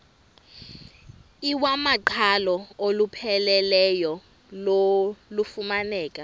iwamaqhalo olupheleleyo lufumaneka